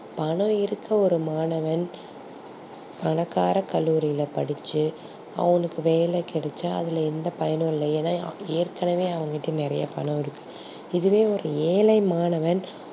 பணம் இருக்கும் ஒரு மாணவன் பணக்கார கல்லூரியில படிச்சி அவனுக்கு வேலை கிடைச்சா அதுல எந்த பயனும் இல்ல ஏனா ஏற்கனவே அவங்கிட்ட நெறையா பணம் இருக்கு இதுவே ஒரு ஏழை மாணவன்